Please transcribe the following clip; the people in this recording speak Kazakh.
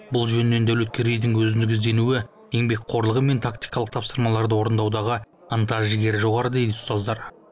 бұл жөнінен дәулеткерейдің өзіндік ізденуі еңбекқорлығы мен тактикалық тапсырмаларды орындаудағы ынта жігері жоғары дейді ұстаздары